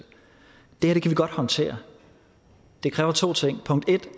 det her kan vi godt håndtere det kræver to ting punkt en